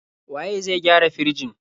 Waye zai gyara firjin?